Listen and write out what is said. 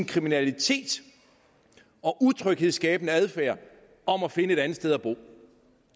kriminalitet og utryghedsskabende adfærd om at finde et andet sted at bo